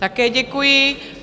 Také děkuji.